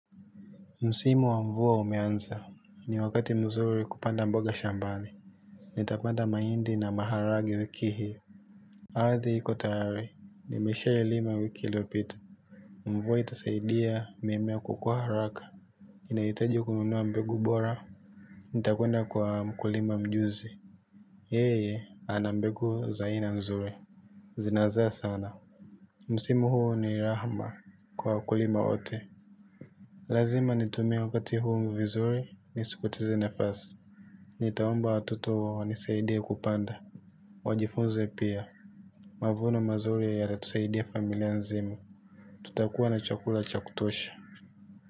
Msimu wa mvua umeanza ni wakati mzuri kupanda mboga shambani. Nitapanda mahindi na maharage wiki hii. Ardhi iko tayari. Nimeshailima wiki iliyopita. Mvua itasaidia mimea kukua haraka. Nahitaji kununua mbegu bora. Nitakwenda kwa mkulima mjuzi. Yeye ana mbegu za aina nzuri zinazaa sana. Msimu huu ni rahma kwa wakulima wote. Lazima nitumie wakati huu vizuri, nisipoteze nafasi. Nitaomba watoto wanisaidie kupanda. Wajifunze pia, mavuno mazuri yatatusaidia familia nzima. Tutakuwa na chakula cha kutosha.